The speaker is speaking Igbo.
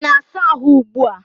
Ị na-asa ahụ ugbua?